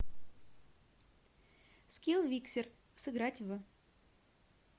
скилл виксер сыграть в